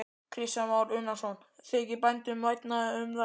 Kristján Már Unnarsson: Þykir bændum vænna um þær?